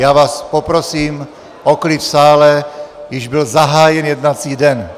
Já vás poprosím o klid v sále, již byl zahájen jednací den.